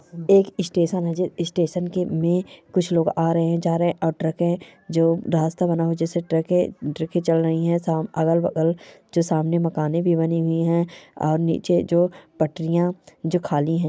एक स्टेशन है जो स्टेशन के में कुछ लोग आ रहे हैं जा रहे हैं और ट्रकें जो रास्ता बना है जिससे ट्रकें ट्रकें चल रही है| अगल-बगल जो सामने मकाने भी बने हुए हैं और अ-ज-जो पटरियां जो खाली हैं।